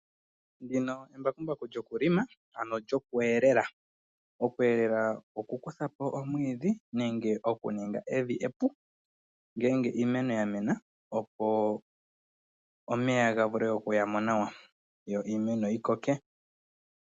embakumbaku lyokulima ano lyokuhelela olya simana. Okuhelela okukutha po omwiidhi nenge okuninga evi epu ngeenge iimeno ya Mena opo omeya ga vule okuya mo nawa yo iimeno yikoke